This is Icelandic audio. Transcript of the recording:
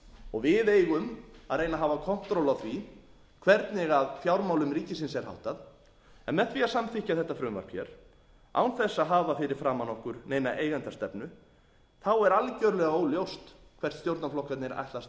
og við eigum að reyna að hafa kontról á því hvernig fjármálum ríkisins er háttað en með því að samþykkja þetta frumvarp hér án þess að hafa fyrir framan okkur neina eigendastefnu er algjörlega óljóst hvert stjórnarflokkarnir ætla að stefna með